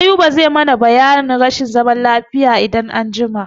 Ayuba zai mana biyanin rashin zaman lafiya idan an jima.